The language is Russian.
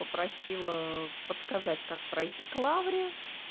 попросила подсказать как пройти к лавре